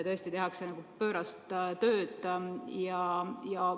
Tõesti tehakse pöörast tööd.